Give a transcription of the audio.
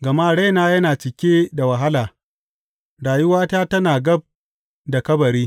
Gama raina yana cike da wahala rayuwata tana gab da kabari.